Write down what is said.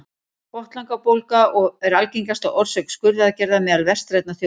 botnlangabólga er algengasta orsök skurðaðgerða meðal vestrænna þjóða